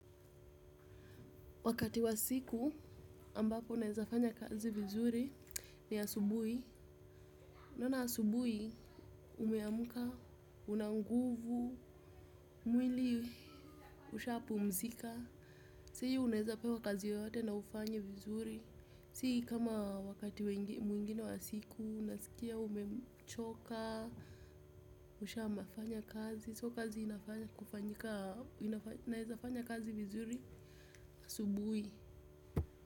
Wakati wa siku ambapo unaweza fanya kazi vizuri ni asubui. Unaona asubuhi umeamka, una nguvu, mwili ushapumzika. Sahii unaweza pewa kazi yoyote na ufanye vizuri. Si kama wakati mwingine wa siku, unasikia umechoka, ushafanya kazi. So kazi inafanya kufanyika, inafanya, naeza fanya kazi vizuri. Asubuhi.